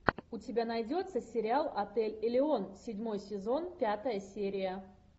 у тебя найдется сериал отель элеон седьмой сезон пятая серия